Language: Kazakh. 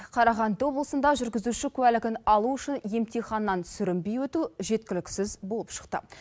қарағанды облысында жүргізуші куәлігін алу үшін емтиханнан сүрінбей өту жеткіліксіз болып шықты